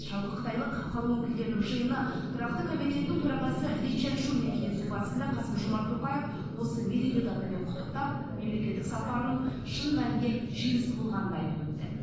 жалпықытайлық халық өкілдерінің жиыны тұрақты комитетінің төрағасы ли чжаньшумен кездесу барысында қасым жомарт тоқаев осы мерейлі датамен құттықтап мемлекеттік сапарының шын мәнінде жемісті болғанын да айтып өтті